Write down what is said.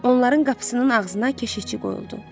Onların qapısının ağzına keşişçi qoyuldu.